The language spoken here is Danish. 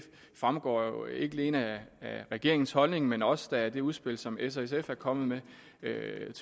fremgår jo ikke alene af regeringens holdning men da også af det udspil som s og sf er kommet med